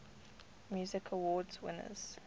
music awards winners